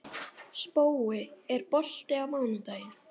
Spói, er bolti á mánudaginn?